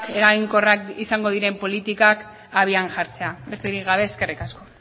eraginkorrak izango diren politikak abian jartzea besterik gabe eskerrik asko